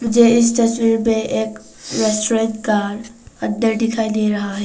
मुझे इस तस्वीर पे एक रेस्टोरेंट का अंदर दिखाई दे रहा है।